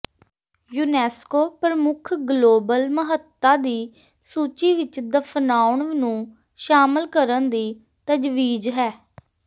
UNESCO ਪ੍ਰਮੁੱਖ global ਮਹੱਤਤਾ ਦੀ ਸੂਚੀ ਵਿੱਚ ਦਫ਼ਨਾਉਣ ਨੂੰ ਸ਼ਾਮਲ ਕਰਨ ਦੀ ਤਜਵੀਜ਼ ਹੈ